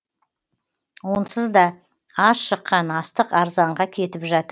онсыз да аз шыққан астық арзанға кетіп жатыр